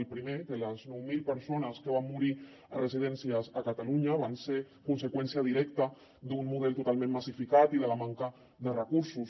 el primer que les nou mil persones que van morir en residències a catalunya van ser conseqüència directa d’un model totalment massificat i de la manca de recursos